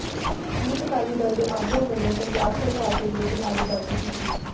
youth Akali Dal ਦੇ ਆਗੂਆਂ ਵਲੋਂ ਪੰਜਾਬ ਸਰਕਾਰ ਦੇ ਵਿਰੁਧ ਨਾਹਰੇਬਾਜ਼ੀ ਕੀਤੀ